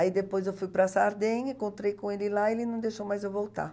Aí depois eu fui para Sardenha, encontrei com ele lá e ele não deixou mais eu voltar.